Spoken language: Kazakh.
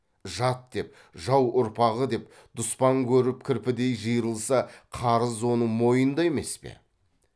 жат деп жау ұрпағы деп дұспан көріп кірпідей жиырылса қарыз оның мойнында емес пе